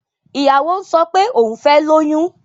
Ìyàwó ń sọ pé òhun fẹ́ lóyún.